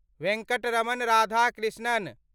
Venkataraman Radhakrishnan